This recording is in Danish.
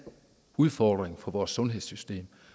udfordring for vores sundhedssystem